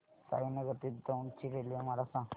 साईनगर ते दौंड ची रेल्वे मला सांग